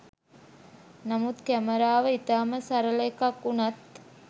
නමුත් කැමරාව ඉතා ම සරල එකක් වුණත්